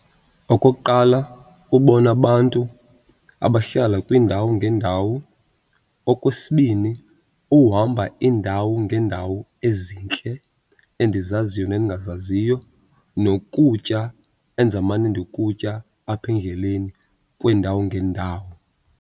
Okokuqala, ubona abantu abahlala kwiindawo ngeendawo. Okwesibini, uhamba iindawo ngeendawo ezintle endizaziyo nendingazaziyo, nokutya endizamane ndikutya apha endleleni kwiindawo ngeendawo.